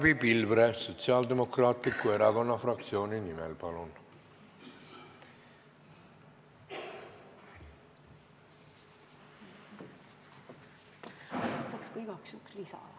Barbi Pilvre Sotsiaaldemokraatliku Erakonna fraktsiooni nimel, palun!